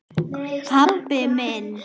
Pabbi minn?